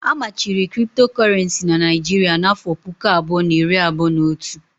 A machiri Kriptokorenci n'Naijiria n'afọ puku abụọ na iri abụọ n'otu